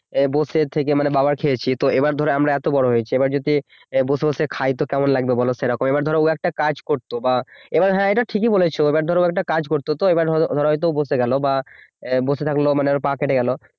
বসে থেকে মানে বাবার খেয়েছি এবার ধরো আমরা তো বড় হয়েছি এবার যদি বসে বসে খাই তো কেমন লাগবে বল সেরকম তো এবার ধরো একটা কাজ করতো বা এবার হ্যাঁ এটা ঠিকই বলেছ এবার ধরো ও একটা কাজ করত তো এবার ধরো ও হয়তো বসে গেল বা বসে থাকলো বা পা কেটে গেল